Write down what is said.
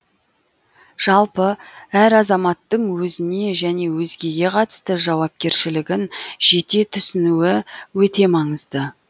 жалпы әр азаматтың өзіне және өзгеге қатысты жауапкершілігін жете түсінуі өте маңызды